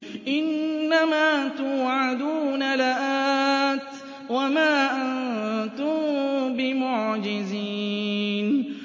إِنَّ مَا تُوعَدُونَ لَآتٍ ۖ وَمَا أَنتُم بِمُعْجِزِينَ